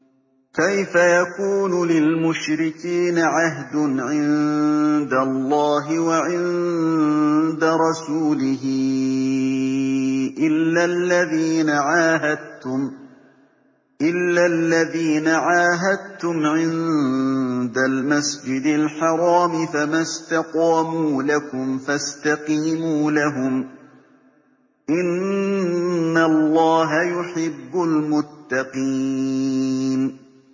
كَيْفَ يَكُونُ لِلْمُشْرِكِينَ عَهْدٌ عِندَ اللَّهِ وَعِندَ رَسُولِهِ إِلَّا الَّذِينَ عَاهَدتُّمْ عِندَ الْمَسْجِدِ الْحَرَامِ ۖ فَمَا اسْتَقَامُوا لَكُمْ فَاسْتَقِيمُوا لَهُمْ ۚ إِنَّ اللَّهَ يُحِبُّ الْمُتَّقِينَ